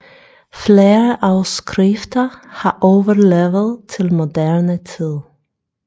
Flere afskrifter har overlevet til moderne tid